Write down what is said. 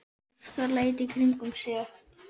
Óskar leit í kringum sig.